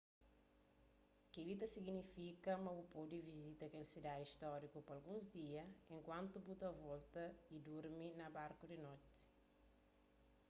kel-li ta signifika ma bu pode visita kel sidadi stóriku pa alguns dias enkuantu bu ta volta y durmi na barku di noti